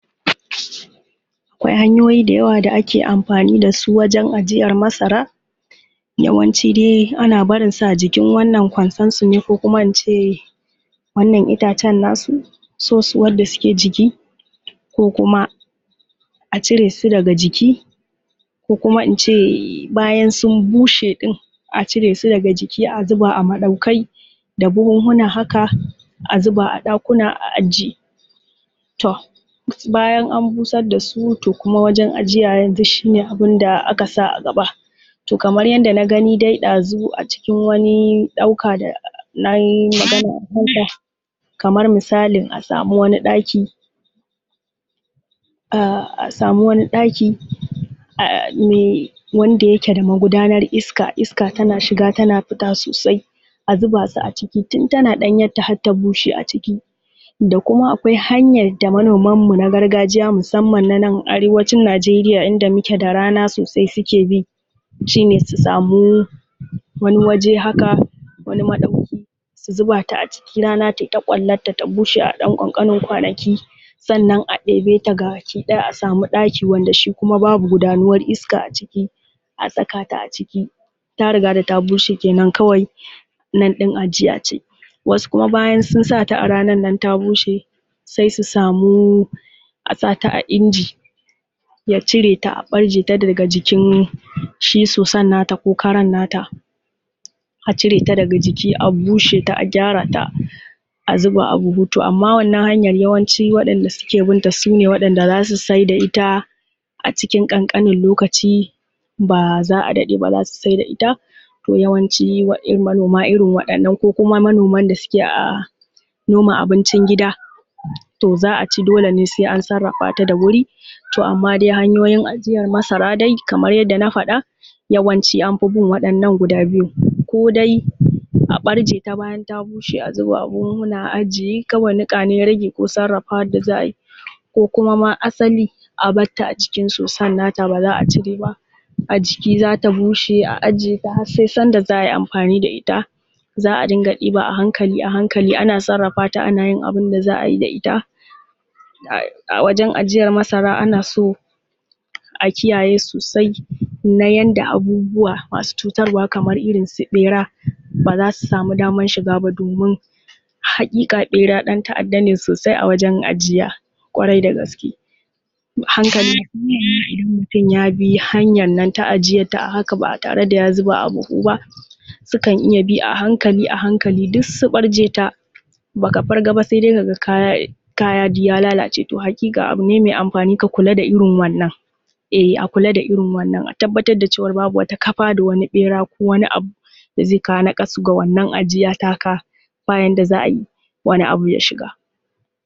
Akwai hanyoyi dayawa da ake amfani da su wajen ajiyar masara, yawanci dai ana barin su a jikin wannan kwansarsu ne ko kuma ince wannan itacen nasu, sosuwan da suke jiki ko kuma a cire su daga jiki, ko kuma ince bayan sun bushe ɗin a cire su daga jiki a zuba a maɗaukai da buhunhuna haka a zuba a ɗakuna a ajiye To bayan an busar da su to kuma wajen ajiya yanzu shi ne abin da aka sa a gaba. To kamar yadda na gani dai ɗazu acikin wani ɗauka da na yi maganar ɗauka, kamar misalin a samu wani ɗaki, a sami wani ɗaki, ah mai wanda yake da magudanar iska, iska tana shiga tana fita sosai, a zuba su aciki, tun tana ɗanyenta har ta bushe aciki. Da kuma akwai hanyar da manoman mu na gargajiya musamman na nan arewacin Najeriya inda muke da rana sosai suke bi, shi ne su samu wani waje haka, wani maɗauki su zuba ta aciki rana tai ta ƙwallarta ta bushe a ɗan ƙanƙanin kwanaki. Sannan ɗebe ta gabaki ɗaya a sami ɗaki wanda shi kuma babu gudanuwar iska aciki, a saka ta aciki, ta riga da ta bushe kenan kawai nana ɗin ajiya ce. Wasu kuma bayan sun sa ta a ranan nan ta bushe, sai su samu a sa ta a inji ya cire ta a ɓarjeta daga jikin shi sosan na ta ko karan na ta, a cire ta daga jiki a bushe ta a gyara ta a zuba a buhu. To amma wannan hanyan yawanci waɗanda suke bin ta sune wanda za su saida ita acikin ƙanƙanin lokaci ba za a daɗe ba za su saida ita. To yawanci manoma irin wa’innan ko kuma manoman da suke noma abincin gida to za a ci dole ne sai an sarrafata da wuri. To amma dai hanyoyin ajiyar masara dai kamar yanda na faɗa yawanci anfi bin waɗannan guda biyun ko dai a ɓarje ta bayan ta bushe a zuba a buhunhuna a ajiye kawai niƙa ce ya rage ko sarrafawan da za a yi, ko kuma asali a bar ta acikin sosan na ta ba za a cire ba a jiki za ta bushe a ajiye ta har sai sanda za a yi amfani da ita za a dinga ɗiba a hankali a hankali ana sarrafata ana yin abun da za a yi da ita. A wajen ajiyar masara ana so a kiyaye sosai na yanda abubuwa masu cutarwa kamar irinsu ɓera ba za su samu damar shiga ba domin haƙiƙa ɓera ɗan ta’adda ne sosai a wajen ajiya, ƙwarai da gaske. A hankali idan mutum ya bi hanyan nan ta ajiyar ta a haka ba tare da ya zuba a buhu ba, sukan iya bi a hankali a hanklai duk su ɓarje ta, baka fargaba sai dai ka ga kaya, kaya duk ya lalace. To haƙiƙa abu ne mai amfani ka kula da irin wannan, eh a kula da irin wannan, a tabbatar da cewar babu wata kafa da wata ɓera ko wani abu da zai kawo naƙasu ga wannan ajiya ta ka, babu yanda za a yi wani abu ya shiga.